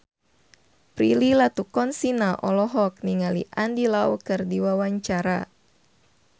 Prilly Latuconsina olohok ningali Andy Lau keur diwawancara